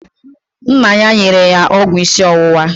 Nna ya nyere ya ọgwụ isi ọwụwa